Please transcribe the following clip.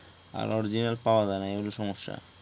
আর original পাওয়া যায় না এই হইলো সমস্যা